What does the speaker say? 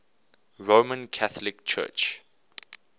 roman catholic church